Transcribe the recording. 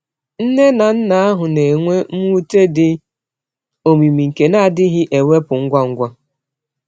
Nne na nna ahụ na-enwe mwute dị omimi nke na-adịghị ewepụ ngwa ngwa.